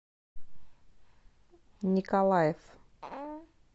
николаев